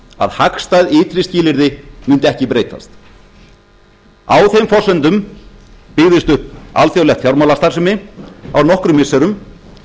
að hagstæð ytri skilyrði mundu ekki breytast á þeim forsendum byggðist upp alþjóðleg fjármálastarfsemi á nokkrum missirum